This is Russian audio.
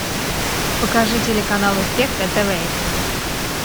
покажи телеканал успех на тв